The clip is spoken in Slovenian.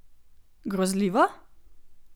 Grozljivo?